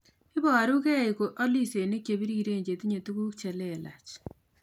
Iborukei ko alisenik chepiriren chetinye tuguk chelelach